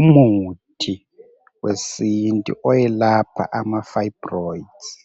Umuthi wesintu oyelapha amafayibroyidzi.